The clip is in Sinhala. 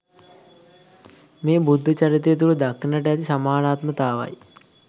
මේ බුද්ධ චරිතය තුළ දක්නට ඇති සමානාත්මතාවයි.